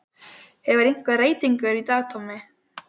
Hefur verið einhver reytingur í dag Tommi?